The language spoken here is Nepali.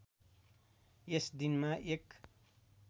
यस दिनमा एक